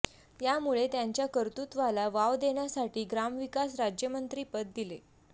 यामुळे त्यांच्या कर्तृत्वाला वाव देण्यासाठी ग्रामविकास राज्यमंत्रीपद दिले